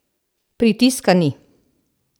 Pritiska ni.